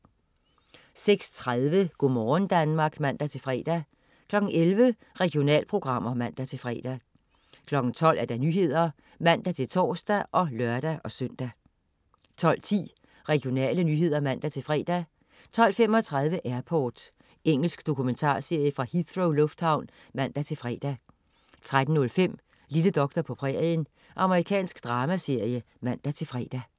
06.30 Go' morgen Danmark (man-fre) 11.00 Regionalprogrammer (man-fre) 12.00 Nyhederne (man-tors og lør-søn) 12.10 Regionale nyheder (man-fre) 12.35 Airport. Engelsk dokumentarserie fra Heathrow lufthavn (man-fre) 13.05 Lille doktor på prærien. Amerikansk dramaserie (man-fre)